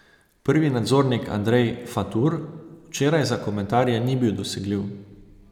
Prvi nadzornik Andrej Fatur včeraj za komentarje ni bil dosegljiv.